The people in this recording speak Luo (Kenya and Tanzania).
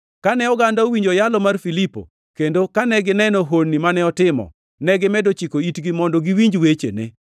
Kane oganda owinjo yalo mar Filipo, kendo kane gineno honni mane otimo, negimedo chiko itgi mondo giwinj wechene.